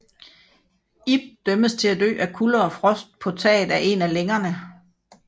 Ib dømmes til at dø af kulde og frost på taget af en af længerne